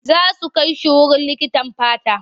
Za su kai shi wurin likitan fata.